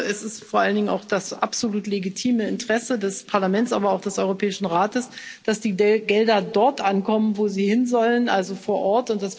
Ich glaube, es ist vor allen Dingen auch das absolut legitime Interesse des Parlaments, aber auch des Europäischen Rates, dass die Gelder dort ankommen, wo sie hinsollen also vor Ort.